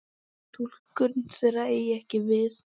Túlkun þeirra eigi ekki við.